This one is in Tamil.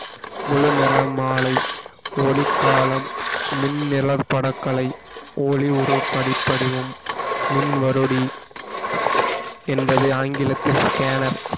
முழு நிற மாலை ஒளிக்காலம் மின் நிலபட கலை ஒளி ஒரு படி~ படிவம் மின்வருடி என்பதை ஆங்கிலத்தில் scanner